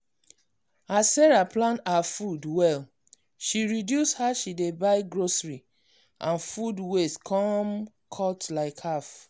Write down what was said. as sarah plan her food well she reduce how she dey buy grocery and food waste come cut like half.